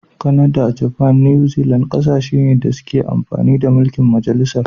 Kanada, Japan da new Zealand kasashe ne da ke amfani da mulki'n majalisar.